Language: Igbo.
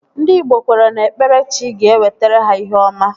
Ndị igbo kweere na ikpere chi ga-ewetara ha ihe ọma